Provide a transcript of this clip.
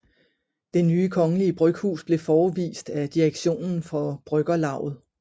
Det nye Kongelige Bryghus blev forevist af direktionen for bryggerlavet